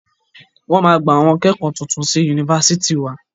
Wọ́n máa gba àwọn akẹ́kọ̀ọ́ titun sí Yunifásitì wa.